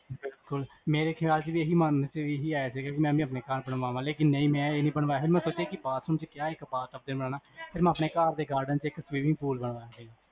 ਮੇਰੇ ਖਿਆਲ ਚ ਵੀ ਇਹੀ ਇਹੀ ਆਇਆ ਸੀਗਾ ਕੀ ਮੈਂ ਵੀ ਆਪਣੇ ਘਰ ਬਣਵਾਵਾਂ, ਲੇਕਿਨ ਮੈਂ ਇਹ ਨੀ ਬਣਵਾਇਆਲੇਕਿਨ ਮੈਂ ਸੋਚਿਆ ਕਿ bathroom ਚ ਕਯਾ ਇਕ bath tub ਬਣਵਾਵਾਂ ਫਿਰ ਮੈਂ ਆਪਣੇ ਘਰ ਦੇ garden ਚ ਇਕ swimming pool ਬਣਵਾਇਆ